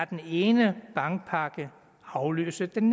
den ene bankpakke afløse den